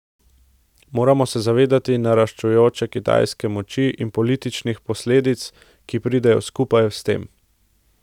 Moramo se zavedati naraščajoče kitajske moči in političnih posledic, ki pridejo skupaj s tem.